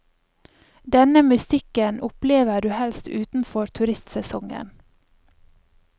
Denne mystikken opplever du helst utenfor turistsesongen.